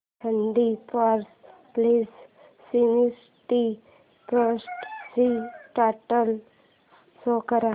thirty four plus sixty eight ची total show कर